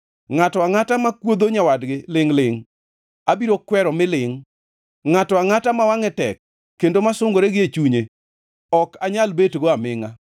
Ngʼato angʼata makuodho nyawadgi lingʼ-lingʼ abiro kwero mi lingʼ; ngʼato angʼata ma wangʼe tek kendo ma sungore gie chunye, ok anyal betgo amingʼa.